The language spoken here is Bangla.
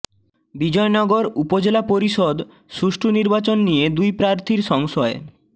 বিজয়নগর উপজেলা পরিষদ সুষ্ঠু নির্বাচন নিয়ে দুই প্রার্থীর সংশয়